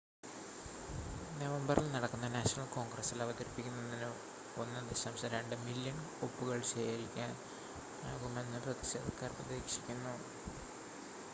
നവംബറിൽ നടക്കുന്ന നാഷണൽ കോൺഗ്രസ്സിൽ അവതരിപ്പിക്കുന്നതിന് 1.2 മില്ല്യൺ ഒപ്പുകൾ ശേഖരിക്കാനാകുമെന്ന് പ്രതിഷേധക്കാർ പ്രതീക്ഷിക്കുന്നു